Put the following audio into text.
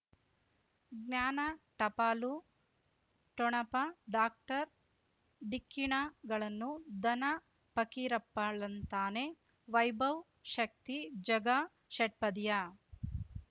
ಜ್ಞಾನ ಟಪಾಲು ಠೊಣಪ ಡಾಕ್ಟರ್ ಢಿಕ್ಕಿ ಣಗಳನು ಧನ ಫಕೀರಪ್ಪ ಳಂತಾನೆ ವೈಭವ್ ಶಕ್ತಿ ಝಗಾ ಷಟ್ಪದಿಯ